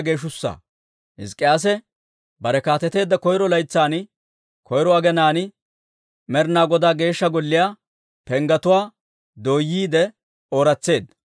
Hizk'k'iyaase bare kaateteedda koyro laytsan, koyro aginaan, Med'inaa Godaa Geeshsha Golliyaa penggetuwaa dooyyiide ooratseedda.